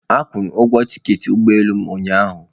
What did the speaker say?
Akwụụrụ ugwo tiketi ụgbọ elu m ụnyaahụ.